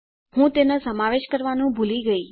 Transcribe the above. હું તેનો સમાવેશ કરવાનું ભૂલી ગયી